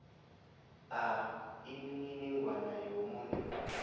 a imininingwana yomuntu